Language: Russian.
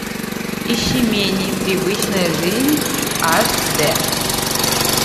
ищи менее привычная жизнь аш дэ